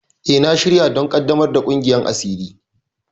E, na shirya don ƙaddamar da ƙungiyar asiri.